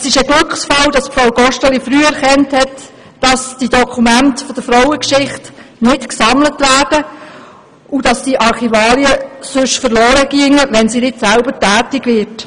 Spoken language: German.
Es ist ein Glücksfall, hat Frau Gosteli früh erkannt, dass die Dokumente der Frauengeschichte nicht gesammelt werden, und dass diese Archivarien verloren gehen, wenn sie nicht selber tätig wird.